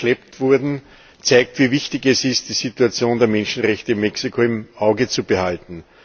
verschleppt wurden, zeigt, wie wichtig es ist, die Situation der Menschenrechte in Mexiko im Auge zu behalten.